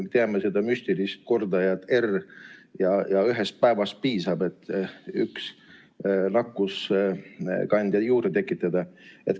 Me teame seda müstilist kordajat R. Ühest päevast piisab, et üks nakkuskandja juurde tekitada.